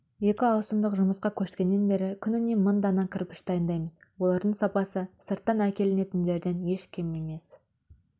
екі ауысымдық жұмысқа көшкеннен бері күніне мың дана кірпіш дайындаймыз олардың сапасы сырттан әкелінетіндерден еш кем